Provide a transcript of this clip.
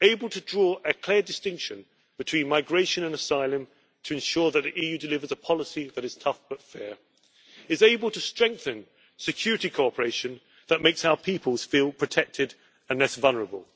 to draw a clear distinction between migration and asylum to ensure that the EU delivers a policy that is tough but fair, is able to strengthen security cooperation that makes our peoples feel protected and less vulnerable,